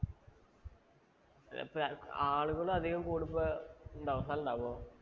ഇപ്പേ ആളുകള് അധികം കൂടുമ്പം ഉണ്ടാവുവോ? ഉണ്ടാവുവോ?